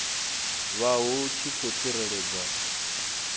vha hu tshi khou tsireledzwa